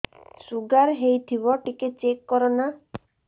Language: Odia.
ଶୁଗାର ହେଇଥିବ ଟିକେ ଚେକ କର ନା